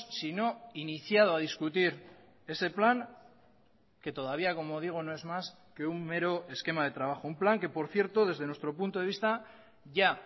sino iniciado a discutir ese plan que todavía como digo no es más que un mero esquema de trabajo un plan que por cierto desde nuestro punto de vista ya